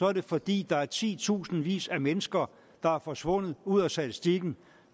er det fordi der er titusindvis af mennesker der er forsvundet ud af statistikken